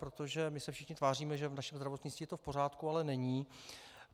Protože my se všichni tváříme, že v našem zdravotnictví je to v pořádku, ale není.